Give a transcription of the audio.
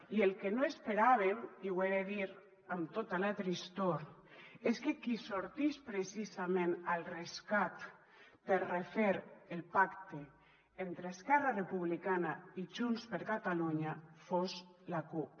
i el que no esperàvem i ho he de dir amb tota la tristor és que qui sortís precisament al rescat per refer el pacte entre esquerra republicana i junts per catalunya fos la cup